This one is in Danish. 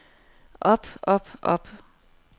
op op op